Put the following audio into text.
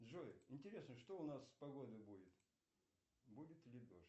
джой интересно что у нас с погодой будет будет ли дождь